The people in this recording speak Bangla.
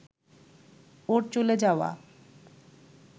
ওর চলে যাওয়া